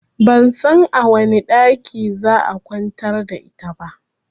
Ban san a wane ɗakin za'a kwantar da ita ba